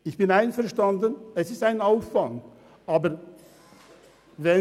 Ich bin damit einverstanden, dass es einen Aufwand mit sich bringt.